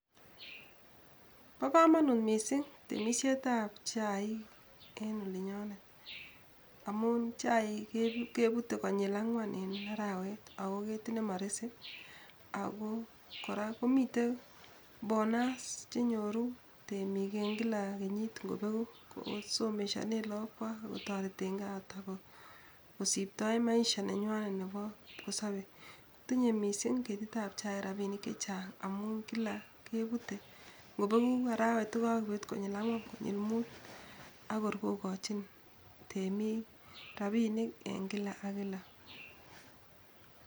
Bo kamang'ut mising tiemisietab chaik en olinyonet amun chaik kepute konyil angwan en arawet ako ketit nemaresei ako kora mitei bonus chenyoru temik eng kila kenyit ngobeku kosomeshane lakokwai ako torote kaingwai kosiptoi maishengwai nebo kipkosobei .Tinyei mising ketitab chaik rapinik chechang amune kila kebutei, ngo pekuu arawet kokakebut konyil angwan, konyil muut, akor kokochin temik rapinik eng kila ak kila.